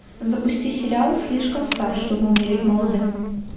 запусти сериал слишком стар чтобы умереть молодым